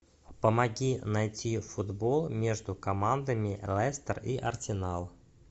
помоги найти футбол между командами лестер и арсенал